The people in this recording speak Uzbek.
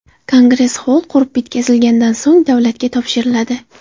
Kongress xoll qurib bitkazilganidan so‘ng davlatga topshiriladi.